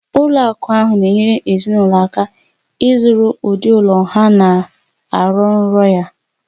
Ụlọ akụ ahụ na-enyere ezinụlọ aka ịzụrụ ụdị ụlọ ha na-arọ nrọ ya